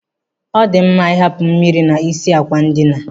Ọ dị mma I hapụ mmiri n'isi àkwà ndina.